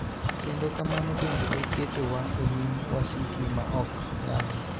kendo kamano bende e ketowa e nyim wasiki ma ok nyalre,